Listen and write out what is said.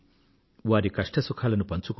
వారి కష్ట సుఖాలను పంచుకోండి